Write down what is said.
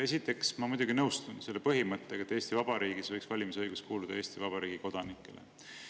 Esiteks, ma muidugi nõustun selle põhimõttega, et Eesti Vabariigis võiks valimisõigus kuuluda Eesti Vabariigi kodanikele.